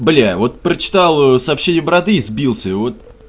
блять вот прочитал сообщение бороды сбился вот